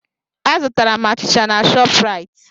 Azutara m achịcha na Shọpraịt.